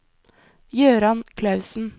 Jøran Klausen